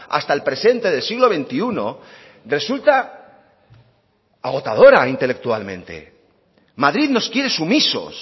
hasta el presente del siglo veintiuno resulta agotadora intelectualmente madrid nos quiere sumisos